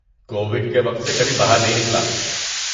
Covid کے وقت سے کبھی باہر نہیں نکلا۔